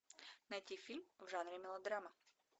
найти фильм в жанре мелодрама